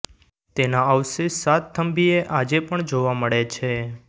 તેના અવશેષ સાતથંભીએ આજે પણ જોવા મળે છે